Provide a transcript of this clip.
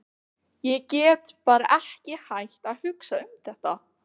Ég get bara ekki hætt að hugsa um þetta.